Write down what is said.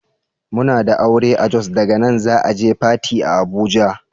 Muna da aure a Jos daga nan za'a je Fati a Abuja.